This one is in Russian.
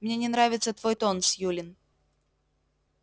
мне не нравится твой тон сьюлин